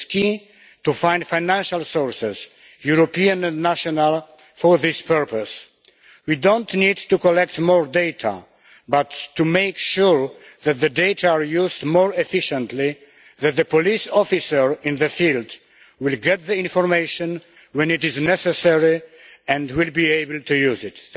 It is key to find financial resources, European and national, for this purpose. We do not need to collect more data, but to make sure that the data are used more efficiently, that the police officer in the field will get the information when it is necessary and will be able to use it.